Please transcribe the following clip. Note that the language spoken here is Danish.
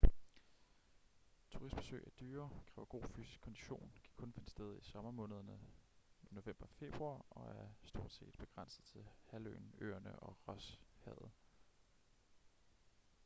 turistbesøg er dyre kræver god fysisk kondition kan kun finde sted i sommermånederne nov-feb og er stortset begrænset til halvøen øerne og rosshavet